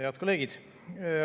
Head kolleegid!